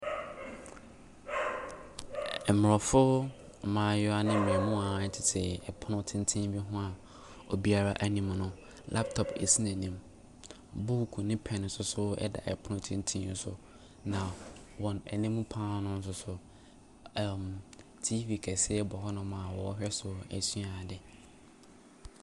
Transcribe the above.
Mmrɔfo mmaayewa ne mmamuwa tete ɛpono tenten bi ho a obiara anim no, laptop sisi n'anim. Book ne pɛn nso ɛda pono tenten no so. Na wɔn anim pa ara nso so ɛɛmm TV kɛseɛ bɔ hɔnom a wɔrehwɛ so asua ade.